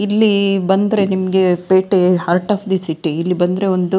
ಇಲ್ಲಿ ಬಂದ್ರೆ ನಿಮಗೆ ಪಟೇ ಹರ್ಟ್ ಒಫ್ ದಿ ಸಿಟಿ ಇಲ್ಲಿ ಬಂದ್ರೆ ಒಂದು --